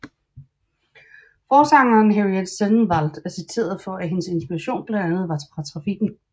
Forsangeren Henriette Sennenvaldt er citeret for at hendes inspiration blandt andet var fra trafikken